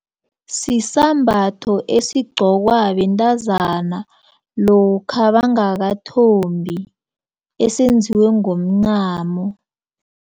Sisambatho esigqokwa bentazana lokha bangakathombi esenziwe ngomncamo.